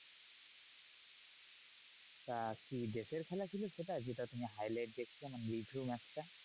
তা কি দেশের খেলা ছিল সেটা যেটা তুমি highlight দেখছো মানে review match টা?